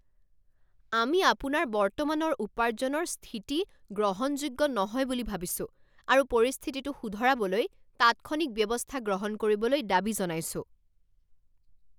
আমি আপোনাৰ বৰ্তমানৰ উপাৰ্জনৰ স্থিতি গ্ৰহণযোগ্য নহয় বুলি ভাবিছো আৰু পৰিস্থিতিটো শুধৰাবলৈ তাৎক্ষণিক ব্যৱস্থা গ্ৰহণ কৰিবলৈ দাবী জনাইছোঁ।